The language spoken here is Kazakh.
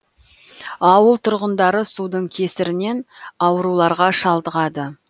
ауыл тұрғындары судың кесірінен ауруларға шалдығады